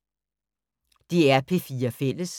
DR P4 Fælles